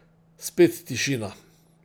Spet tišina.